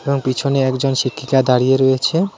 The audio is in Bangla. পিছনে একজন শিক্ষিকা দাঁড়িয়ে রয়েছে.